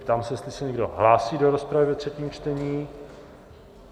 Ptám se, jestli se někdo hlásí do rozpravy ve třetím čtení.